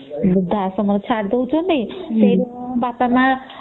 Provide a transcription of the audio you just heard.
ଵୃଦ୍ଧାଶ୍ରମ ରେ ଛାଡି ଦଉଛନ୍ତି ସେଇଠୁ ବାପା ମା